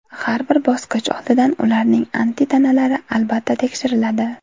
Har bir bosqich oldidan ularning antitanalari, albatta, tekshiriladi.